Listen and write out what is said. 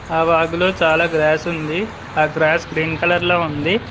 ఆ వాగులో చాలా గ్రాస్ ఉంది ఆ గ్రాస్ గ్రీన్ కలర్ లో ఉంది.